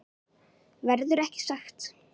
Verður ekki sagt.